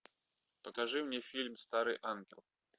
покажи мне фильм старый ангел